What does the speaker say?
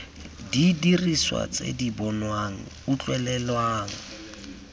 didiriswa tse di bonwang utlwelelwang